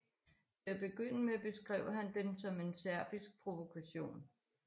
Til at begynde med beskrev han den som en serbisk provokation